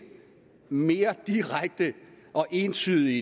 mere direkte og entydigt i